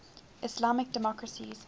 islamic democracies